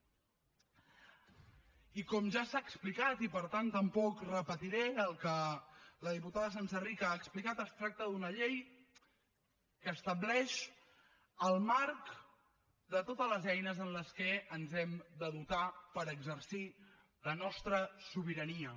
i com ja s’ha explicat i per tant tampoc repetiré el que la diputada senserrich ha explicat es tracta d’una llei que estableix el marc de totes les eines de què ens hem de dotar per exercir la nostra sobirania